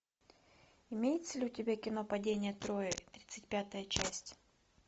имеется ли у тебя кино падение трои тридцать пятая часть